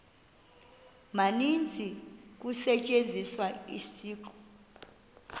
maninzi kusetyenziswa isiqu